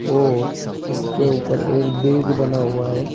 और इसके ऊपर एक ब्रिज बना हुआ है।